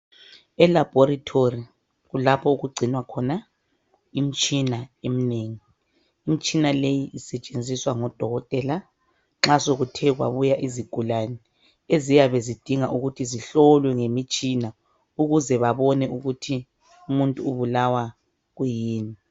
Elaborethori lapho okugcinwa khona imitshina eminengi. Imitshina leyi isetshenziswa ngodokotela nxa sekuthe kwabuya izigulane eziyabe zidinga ukuthi zihlolwe ngomtshina ukuze babone ukuthi umuntu ubulawa kuyini.